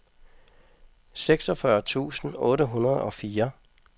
seksogfyrre tusind otte hundrede og fire